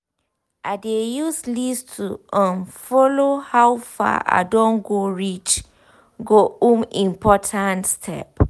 i dey use list to um follow up how far i don go reach go um important step